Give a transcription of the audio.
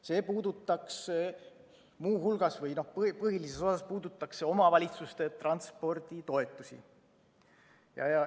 See puudutaks põhilises osas omavalitsuste transporditoetusi.